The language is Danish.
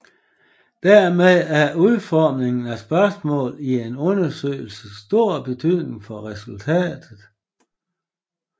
Dermed har udformningen af spørgsmål i en undersøgelse stor betydning for resultatet